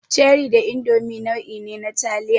Cherie da Indomi nau'i ne na taliya.